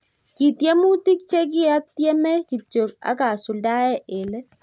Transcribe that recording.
Kitiemutik chekiatiemee kityo akasuldae eng leet